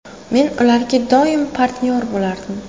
Men ularga doim partnyor bo‘lardim.